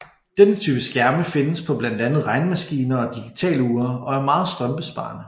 Denne type skærme findes på blandt andet på regnemaskiner og digitalure og er meget strømbesparende